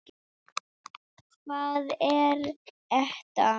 Hvað er ETA?